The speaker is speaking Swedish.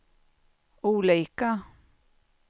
olika